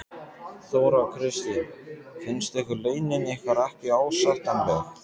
Þóra Kristín: Finnst ykkur launin ykkar ekki ásættanleg?